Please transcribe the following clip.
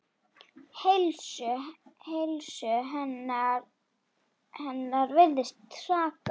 Heilsu hennar virðist hraka.